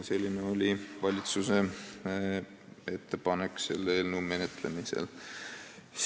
Selline oli valitsuse ettepanek selle eelnõu menetlemisel.